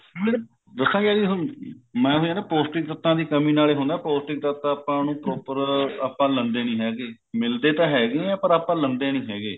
ਦੱਸਾ ਕਿਆ ਜੀ ਮੈਂ ਐਵੇਂ ਐ ਨਾ ਪੋਸਟਿਕ ਤੱਤਾ ਦੀ ਕਮੀ ਨਾਲ ਹੀ ਹੁੰਦਾ ਹੈ ਪੋਸਟਿਕ ਤੱਤ ਆਪਾਂ ਨੂੰ proper ਆਪਾਂ ਲੈਂਦੇ ਨਹੀਂ ਹੈਗੇ ਮਿਲਦੇ ਤਾਂ ਹੈਗੇ ਐ ਪਰ ਆਪਾਂ ਲੇਂਦੇ ਨਹੀਂ ਹੈਗੇ